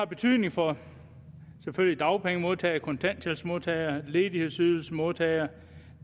betydning for dagpengemodtagere kontanthjælpsmodtagere ledighedsydelsesmodtagere og